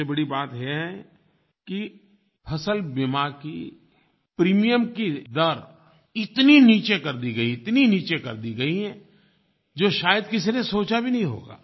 सबसे बड़ी बात है कि फ़सल बीमा की प्रीमियम की दर इतनी नीचे कर दी गयी इतनी नीचे कर दी गयी हैं जो शायद किसी ने सोचा भी नहीं होगा